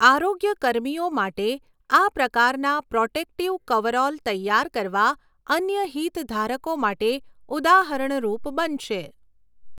આરોગ્ય કર્મીઓ માટે આ પ્રકારના પ્રોટેક્ટિવ કવરઓલ તૈયાર કરવા અન્ય હિતધારકો માટે ઉદાહરણરૂપ બનશે